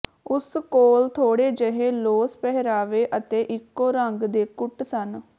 ਉਸ ਕੋਲ ਥੋੜ੍ਹੇ ਜਿਹੇ ਲੌਸ ਪਹਿਰਾਵੇ ਅਤੇ ਇੱਕੋ ਰੰਗ ਦੇ ਕੁੱਟ ਸਨ